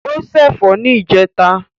O ṣé ẹ̀fọ́ ní ìjẹta.